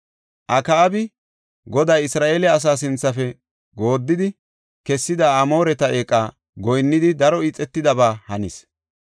Akaabi, Goday Isra7eele asaa sinthafe gooddidi kessida Amooreta eeqa goyinnidi daro ixetidaba hanis.